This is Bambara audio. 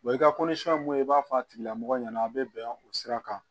i ka mun i b'a fɔ a tigila mɔgɔ ɲɛna a bɛ bɛn o sira kan